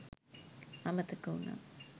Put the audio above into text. අමතක උනා.